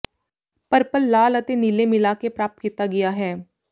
purple ਲਾਲ ਅਤੇ ਨੀਲੇ ਮਿਲਾ ਕੇ ਪ੍ਰਾਪਤ ਕੀਤਾ ਗਿਆ ਹੈ